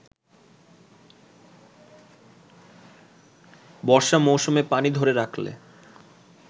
বর্ষা মৌসুমে পানি ধরে রাখলে